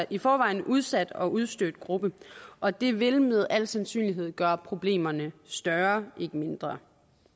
i forvejen udsat og udstødt gruppe og det vil med al sandsynlighed gøre problemerne større ikke mindre